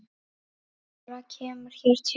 Fleira kemur hér til.